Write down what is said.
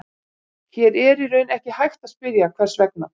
Hér er í raun ekki hægt að spyrja, hvers vegna?